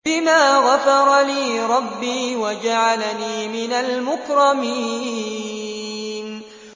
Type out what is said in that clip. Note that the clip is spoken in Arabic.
بِمَا غَفَرَ لِي رَبِّي وَجَعَلَنِي مِنَ الْمُكْرَمِينَ